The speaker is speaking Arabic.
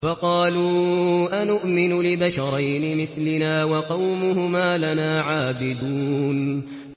فَقَالُوا أَنُؤْمِنُ لِبَشَرَيْنِ مِثْلِنَا وَقَوْمُهُمَا لَنَا عَابِدُونَ